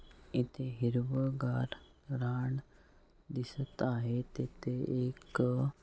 इथे हिरवंगार रान दिसत आहे तेथे एक अह--